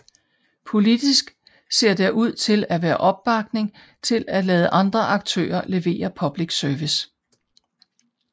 Politisk ser der ud til at være opbakning til at lade andre aktører levere public service